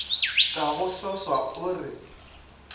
ka go swaswa o re